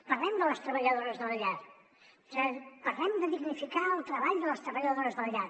parlem de les treballadores de la llar parlem de dignificar el treball de les treballadores de la llar